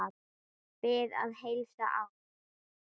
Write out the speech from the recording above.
Bið að heilsa afa.